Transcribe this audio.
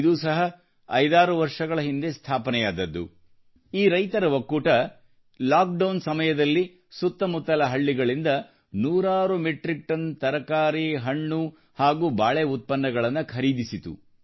ಇದೂ ಸಹ 56 ವರ್ಷಗಳ ಹಿಂದೆ ಸ್ಥಾಪನೆವಾದದ್ದು ಈ ರೈತರ ಒಕ್ಕೂಟವು ಲಾಕ್ಡೌನ್ ಸಮಯದಲ್ಲಿ ಸುತ್ತಮುತ್ತಲ ಹಳ್ಳಿಗಳಿಂದ ನೂರಾರು ಮೆಟ್ರಿಕ್ ಟನ್ ತರಕಾರಿ ಹಣ್ಣು ಹಾಗೂ ಬಾಳೆ ಉತ್ಪನ್ನಗಳನ್ನು ಖರೀದಿಸಿತು